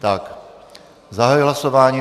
Tak zahajuji hlasování.